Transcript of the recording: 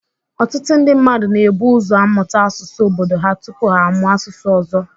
Ọtụtụ ndị mmadụ na-ebu ụzọ amụta asụsụ obodo ha tupu ha amụọ asụsụ ọzọ